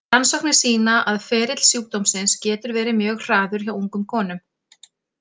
Rannsóknir sýna að ferill sjúkdómsins getur verið mjög hraður hjá ungum konum.